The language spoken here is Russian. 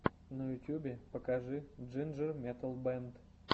на ютубе покажи джинджер метал бэнд